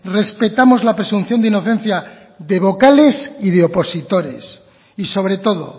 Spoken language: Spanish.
respetamos la presunción de inocencia de vocales y de opositores y sobre todo